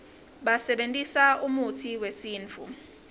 basebentisa umutsi wesintfu